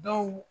Dɔw